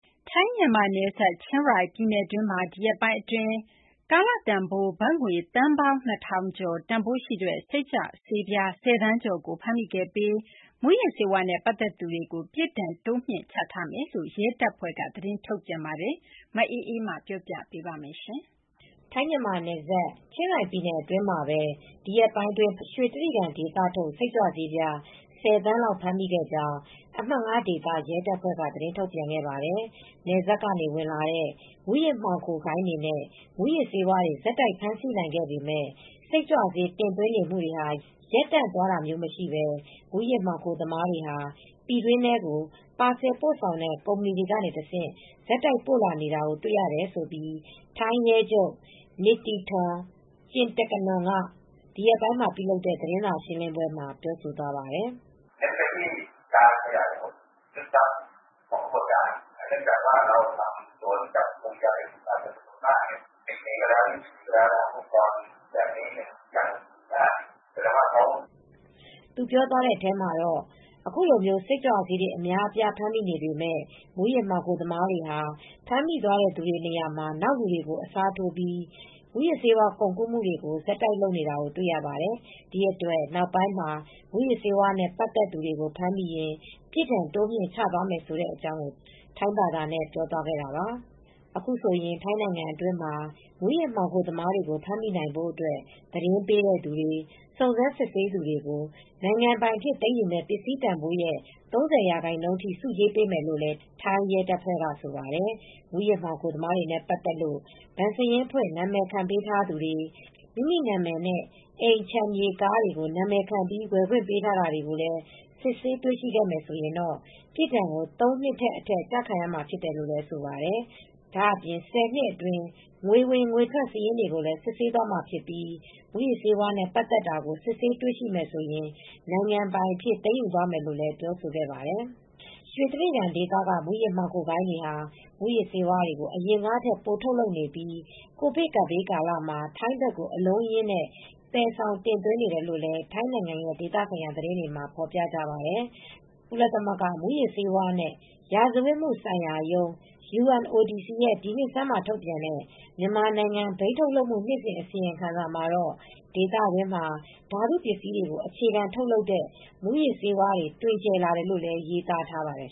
ထိုင်း-မြန်မာနယ်စပ် ချင်းရိုင်ပြည်နယ်အတွင်းမှာ ဒီရက်ပိုင်းအတွင်း ကာလတန်ဖိုး ဘတ်ငွေ သန်းပေါင်း ၂,၀၀၀ ကျော် တန်ဖိုးရှိတဲ့ စိတ်ကြွဆေးပြား ၁၀ သန်းကျော် ဖမ်းမိခဲ့ပြီး မူးယစ်ဆေးဝါးနဲ့ ပတ်သက်သူတွေကို ပြစ်ဒဏ်တိုးမြှင့်ချမယ်လို့ ထိုင်းရဲတပ်ဖွဲ့က သတင်းထုတ်ပြန်ခဲ့ပါတယ်။ အပြည့်အစုံကို ဗွီအိုအေမြန်မာပိုင်း သတင်းထောက် မအေးအေးမာ တင်ပြပေးထားပါတယ်။ ထိုင်း-မြန်မာနယ်စပ် ချင်းရိုင်ပြည်နယ်အတွင်းမှာပဲ ဒီရက်ပိုင်းအတွင်း ဖမ်းမိတဲ့ ရွှေတြိဂံဒေသထုတ် စိတ်ကြွဆေး ၁၀ သန်းလောက် ဖမ်းမိခဲ့ကြောင်း အမှတ် ၅ ဒေသ ရဲတပ်ဖွဲ့က သတင်းထုတ်ပြန်ခဲ့ပါတယ်။ နယ်စပ်တွေက ဝင်လာတဲ့ မူးယစ်မှောင်ခိုဂိုဏ်းတွေနဲ့ မူးယစ်ဆေးဝါးတွေ ဆက်တိုက် ဖမ်းဆီးနိုင်ခဲ့ပေမယ့် စိတ်ကြွဆေး တင်သွင်းနေမှုတွေ ရပ်တန့်သွားတာမရှိဘဲ မူးယစ်မှောင်ခိုသမားတွေဟာ ပြည်တွင်းထဲကို ပါဆယ်ပို့ဆောင်တဲ့ ကုမ္ပဏီတွေကတဆင့် ဆက်တိုက်ပို့လာနေတာတွေကို တွေ့လာရတယ်လို့ ထိုင်းဒုရဲချုပ် Pol Maj. Gen. Nithithorn Jintakanon က ဒီရက်ပိုင်းမှာလုပ်တဲ့ သတင်းစာရှင်းလင်းပွဲမှာ ပြောဆိုသွားပါတယ်။ “အခုလို စိတ်ကြွဆေးတွေ အများအပြား ဖမ်းမိနေပေမယ့် မူးယစ်မှောင်ခိုသမားတွေဟာ ဖမ်းမိသွားတဲ့သူတွေ နေရာမှာ နောက်လူတွေကို အစားထိုးပြီး မူးယစ်ကုန်ကူးမှုတွေကို ဆက်လုပ်နေတာ တွေ့ရပါတယ်။ ဒီအတွက် နောက်ပိုင်းမှာ မူးယစ်ဆေးဝါးနဲ့ ပတ်သက်သူတွေကို ဖမ်းမိရင် ပြစ်ဒဏ်တိုးမြှင့်ချသွားမှာ ဖြစ်ပါတယ်။” အခုဆိုရင် ထိုင်းနိုင်ငံအတွင်းမှာ မူးယစ်မှောင်ခိုသမားတွေကို ဖမ်းမိနိုင်ဖို့အတွက် သတင်းပေးသူတွေ စုံစမ်းစစ်ဆေးသူတွေကို နိုင်ငံပိုင်အဖြစ် သိမ်းယူမယ့် ပစ္စည်းတန်ဖိုးရဲ့ ၃၀ ရာခိုင်နှုန်းအထိ ဆုကြေးပေးမယ်လို့လည်း ထိုင်းရဲတပ်ဖွဲ့က ဆိုပါတယ်။ မူးယစ်မှောင်ခိုသမားတွေနဲ့ ပတ်သက်လို့ ဘဏ်စာရင်းဖွင့် နာမည်ခံပေးထားသူတွေ မိမိနာမည်နဲ့ အိမ်ခြံမြေ ကား နာမည်ခံဝယ်ခွင့် ပေးထားတာကို စစ်ဆေးတွေ့ရှိရင်တော့ ပြစ်ဒဏ်ကို ၃ နှစ်နဲ့အထက် ကျခံရမှာဖြစ်တယ်လို့ ဆိုပါတယ်။ ဒါ့အပြင် ၁၀ နှစ်အတွင်း ငွေဝင်ငွေထွက် စာရင်းတွေကိုလည်း စစ်ဆေးသွားမှာဖြစ်ပြီး မူးယစ်ဆေးဝါးနဲ့ ပတ်သက်တာကို စစ်ဆေးတွေ့ရှိမယ်ဆိုရင် နိုင်ငံပိုင်အဖြစ် သိမ်းယူသွားမယ်လို့လည်း ပြောဆိုခဲ့ပါတယ်။ ရွှေတြိဂံဒေသက မူးယစ်မှောင်ဂိုဏ်းတွေဟာ မူးယစ်ဆေးတွေကို အရင်ကထက် ပိုထုတ်လုပ်နေပြီး ကိုဗစ်ကပ်ဘေးကာလမှာ ထိုင်းဘက်ကို အလုံးအရင်း သယ်ဆောင်တင်သွင်းနေတယ်လို့လည်း ထိုင်းနိုင်ငံရဲ့ ဒေသဆိုင်ရာ သတင်းတွေမှာ ဖော်ပြကြပါတယ်။ ကုလသမဂ္ဂ မူးယစ်ဆေးဝါးနဲ့ ရာဇဝတ်မှုဆိုင်ရာရုံး (UNODC) ရဲ့ ဒီနှစ်ဆန်းမှာ ထုတ်ပြန်တဲ့ မြန်မာနိုင်ငံ ဘိန်းထုတ်လုပ်မှု နှစ်စဉ် အစီရင်ခံစာမှာတော့ ဒေသတွင်းမှာ ဓာတုပစ္စည်းတွေကို အခြေခံထုတ်လုပ်တဲ့ မူးယစ်ဆေးဝါးတွေ တွင်ကျယ်လာတယ်လို့လည်း ရေးသားထားပါတယ်